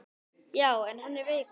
Já, en hann er veikur